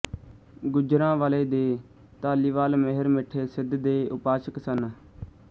ਗੁਜਰਾਂਵਾਲੇ ਦੇ ਧਾਲੀਵਾਲ ਮਿਹਰਮਿੱਠੇ ਸਿੱਧ ਦੇ ਉਪਾਸ਼ਕ ਸਨ